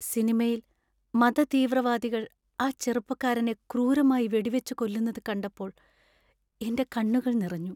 സിനിമയിൽ മതതീവ്രവാദികൾ ആ ചെറുപ്പക്കാരനെ ക്രൂരമായി വെടിവച്ചുകൊല്ലുന്നത് കണ്ടപ്പോൾ എന്‍റെ കണ്ണുകൾ നിറഞ്ഞു.